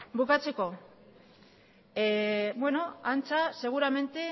bukatzeko beno antza seguramente